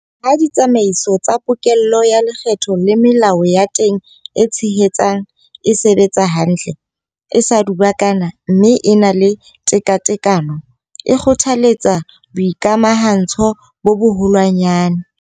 Ha ditsamaiso tsa pokello ya lekgetho le melao ya teng e tshehetsang e sebetsa hantle, e sa dubakana mme e na le tekatekano, e kgothaletsa boikamahantsho bo boholwanyane.